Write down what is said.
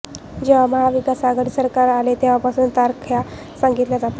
जेव्हा महाविकास आघाडी सरकार आले तेव्हापासून तारखा सांगितल्या जातात